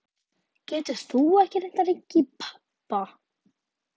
Getur þú ekki reynt að hringja í pabba?